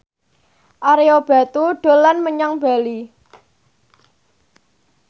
Ario Batu dolan menyang Bali